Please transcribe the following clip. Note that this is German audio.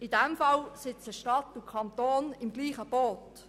In diesem Fall sitzen Stadt und Kanton im selben Boot: